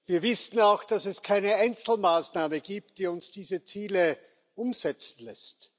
Wir wissen auch, dass es keine Einzelmaßnahme gibt, die uns diese Ziele umsetzen lässt.